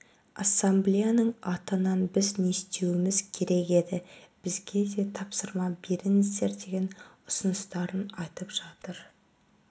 ассамблеяның атынан біз не істеуіміз керек еді бізге де тапсырма беріңіздер деген ұсыныстарын айтып жатыр